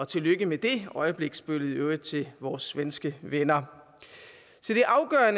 tillykke med det øjebliksbillede til vores svenske venner